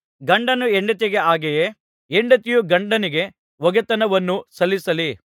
ಗಂಡನು ಹೆಂಡತಿಗೆ ಹಾಗೆಯೇ ಹೆಂಡತಿಯು ಗಂಡನಿಗೆ ಒಗೆತನವನ್ನು ಸಲ್ಲಿಸಲಿ